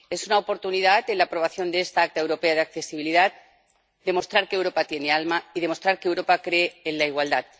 Tenemos la oportunidad, con la aprobación de esta Acta Europea de Accesibilidad, de demostrar que Europa tiene alma y demostrar que Europa cree en la igualdad.